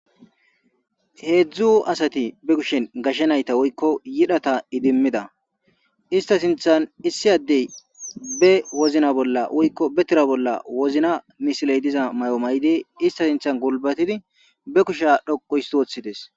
heedzdzu asati be kushen gashshe nayta woykko yidhata idimmida ista sinthan issi addey be wozna bolla woykko betera bolla wozina misiley diza may7o may7di ista sinthan gulbatidi be kusha dhoqu hisswoththides